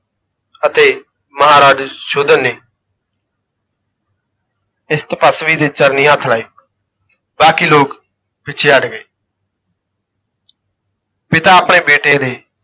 ਅਤੇ ਮਹਾਰਾਜ ਸੁਸ਼ੋਧਨ ਨੇ ਇਸ ਤਪੱਸਵੀ ਦੇ ਚਰਨੀ ਹੱਥ ਲਾਏ, ਬਾਕੀ ਲੋਕ ਪਿਛੇ ਹੱਟ ਗਏ ਪਿਤਾ ਆਪਣੇ ਬੇਟੇ ਦੇ